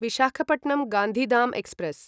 Visakhapatnam Gandhi Dham express